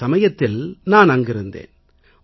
அந்த சமயத்தில் நான் அங்கிருந்தேன்